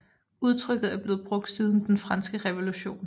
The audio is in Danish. Udtrykket er blevet brugt siden den franske revolution